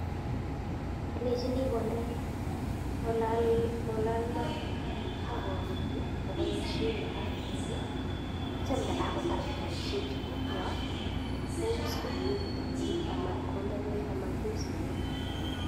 Alenchi I kondee kolal mat akobaishen Maka kidogo akitya kotar kobaishen en chikokoa kous komie kotililit amatkonde bek